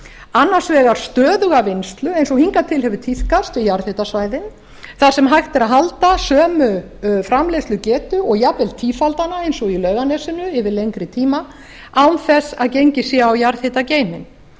annars vegar stöðuga vinnslu eins og hingað til hefur tíðkast á jarðhitasvæðin þar sem hægt er að halda sömu framleiðslugetu og jafnvel tífalda hana eins og í laugarnesinu yfir lengri tíma án þess að gengið sé á jarðhitageyminn en